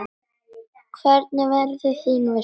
Hvernig verður þín veisla?